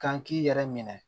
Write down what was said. Kan k'i yɛrɛ minɛ